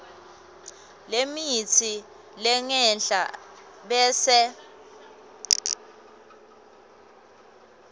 lemitsi lengenhla bese